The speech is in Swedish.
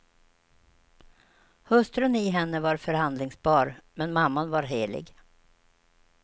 Hustrun i henne var förhandlingsbar, men mamman var helig.